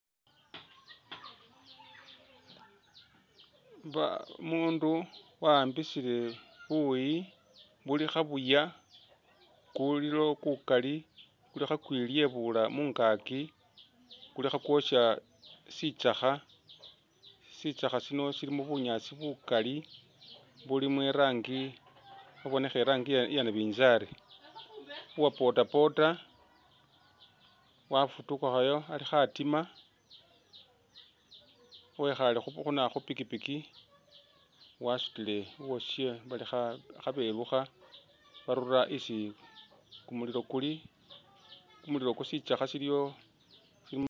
Umuundu wahambisile buuyi buli khabuuya, kulilo kukaali kuli kha kwilyebuula mungaaki kuli khakwosha kyisakha, shitsakha shino shilimo bunyaasi bukaali bulimo irangi ibonekha irangi iye nabinzali, uwa bodaboda wafutukhayo ali khatiima wekhaale khu na khupikipiki wasutile uwashe kha belukha barula isi kumulilo kuli kumulilo ku shitsakha shiliwo